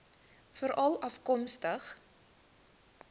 veralafkomstig